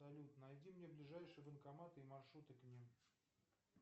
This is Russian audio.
салют найди мне ближайшие банкоматы и маршруты к ним